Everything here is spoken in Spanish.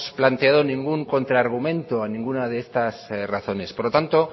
planteado ningún contra argumento a ninguna de estas razones por lo tanto